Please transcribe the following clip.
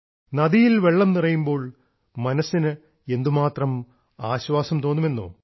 നദിയിൽ വെള്ളം നിറയുമ്പോൾ മനസ്സിന് എന്തുമാത്രം ആശ്വാസം തോന്നുമെന്നോ